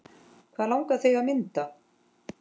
Hvað langar þig að mynda?